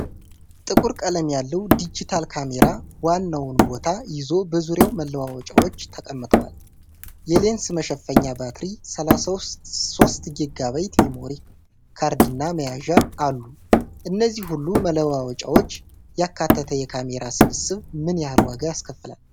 ጥቁር ቀለም ያለው ዲጂታል ካሜራ ዋናውን ቦታ ይዞ በዙሪያው መለዋወጫዎች ተቀምጠዋል። የሌንስ መሸፈኛ፣ ባትሪ፣ 32 ጊጋባይት ሜሞሪ ካርድ እና መያዣ አሉ። እነዚህን ሁሉ መለዋወጫዎች ያካተተ የካሜራ ስብስብ ምን ያህል ዋጋ ያስከፍላል?